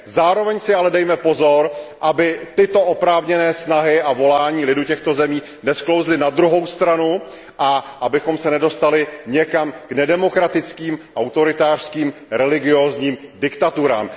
Zároveň si ale dejme pozor, aby tyto oprávněné snahy a volání lidu těchto zemí nesklouzly na druhou stranu a abychom se nedostali někam k nedemokratickým, autoritářským, religiózním diktaturám.